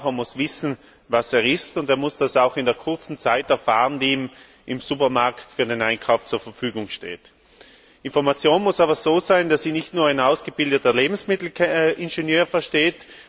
Der Verbraucher muss wissen, was er isst, und er muss das auch in der kurzen Zeit erfahren, die ihm im Supermarkt für einen Einkauf zur Verfügung steht. Die Information muss aber so sein, dass sie nicht nur ein ausgebildeter Lebensmittelingenieur versteht.